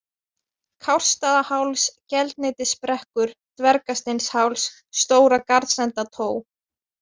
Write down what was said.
Kársstaðaháls, Geldneytisbrekkur, Dvergasteinsháls, Stóra-Garðsendató